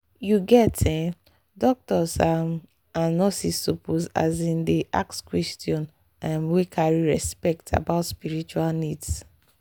you get ehh doctors um and nurses suppose asin dey ask questions um wey carry respect about spiritual needs.